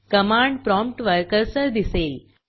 command प्रॉम्प्टवर cursor दिसेल